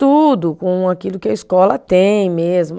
Tudo com aquilo que a escola tem mesmo.